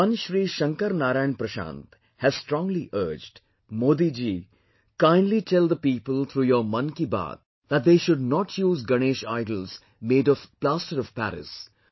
One Shri Shankar Narayan Prashant has strongly urged "Modi ji, kindly tell the people through your Mann Ki Baat that they should not use Ganesh idols made of Plaster of Paris